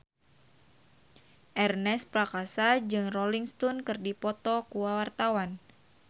Ernest Prakasa jeung Rolling Stone keur dipoto ku wartawan